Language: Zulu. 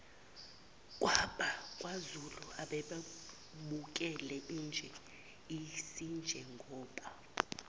kwabakwazulu ababebukele asinjengoba